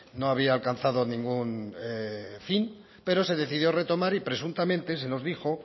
no había alcanzado ningún fin pero se decidió retomar y presuntamente se nos dijo